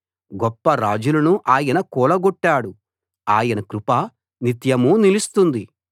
గొప్ప రాజులను ఆయన కూలగొట్టాడు ఆయన కృప నిత్యమూ నిలుస్తుంది